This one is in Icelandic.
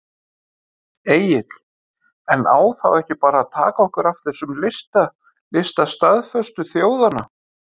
Egill: En á þá ekki bara að taka okkur af þessum lista, lista staðföstu þjóðanna?